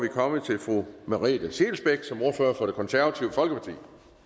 vi kommet til fru merete scheelsbeck som ordfører for det konservative folkeparti